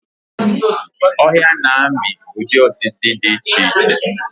Ọhịa na-amị ụdị osisi dị iche iche.